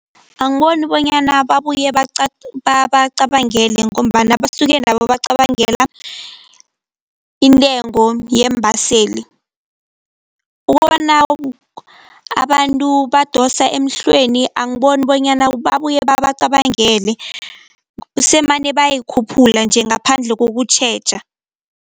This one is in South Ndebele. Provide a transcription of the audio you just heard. Angiboni bonyana babuye babacabangele ngombana basuke nabo bacabangela intengo yeembaseli. Ukubona abantu badosa emhlweni, angiboni bonyana babuye babacabangele semane bayayikhuphula nje ngaphandle kokutjheja.